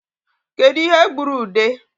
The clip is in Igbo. Kedu ihe gburu ude?